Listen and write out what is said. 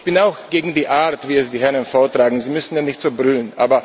Ich bin auch gegen die Art, wie es die Herren vortragen, sie müssten ja nicht so brüllen.